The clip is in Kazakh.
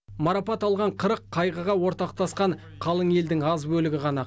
марапат алған қырық қайғыға ортақтасқан қалың елдің аз бөлігі ғана